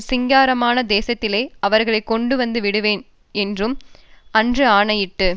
சிங்காரமான தேசத்திலே அவர்களை கொண்டுவந்து விடுவேன் என்றும் அன்று ஆணையிட்டு